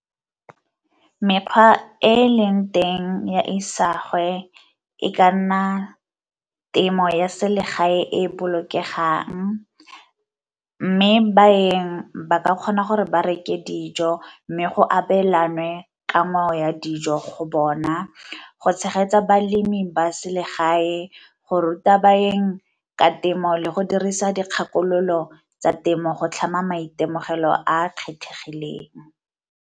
Mekgwa e e eleng teng ya isagwe e ka nna temo ya selegae e bolokegang, mme baeng ba ka kgona gore ba reke dijo mme go abelanwe ka ngwao ya dijo go bona go tshegetsa balemi ba selegae, go ruta baeng ka temo, le go dirisa dikgakololo tsa temo go tlhama maitemogelo a a kgethegileng.